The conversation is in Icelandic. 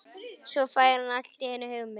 Svo fær hann allt í einu hugmynd.